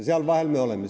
Seal vahel me oleme.